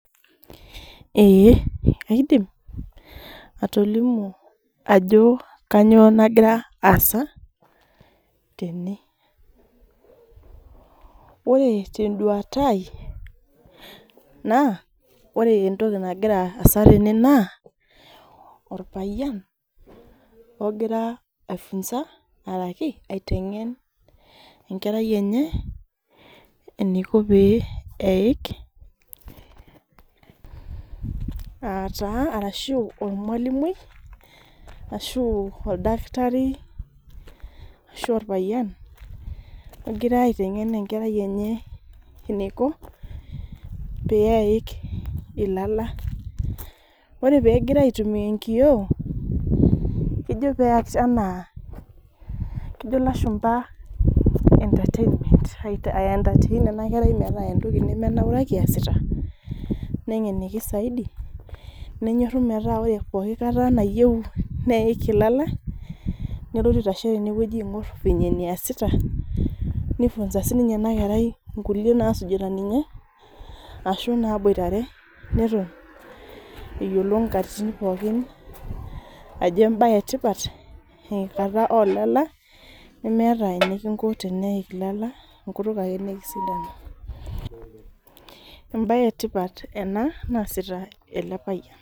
Ee kaidim atolimu wjo kanyio nagira aasa tene ore ten duata aai na ore entoki nagira aasa tene na orpayian ogira aitengen enkerai enye enikopeik qtaa ormalimui ashu oladakitari ashu orpayian egira aitengen enkerai enye eniko peik ilala ore oegira aitumia enkiyoo na kejo peas ana kejo lashumba entertainment metaa entoki naas ningeniki saidi metaa ore enoshi kata peyie neik olala nelotu aitashe tene vile neasita ninye ashu naboitare neton nkolongi polki ajo embae etipat teneik ilala enkutuk embae etipat easita elepayian.